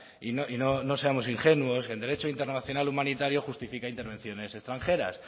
y no seamos ingenuos el derecho internacional humanitario justifica intervenciones extranjeras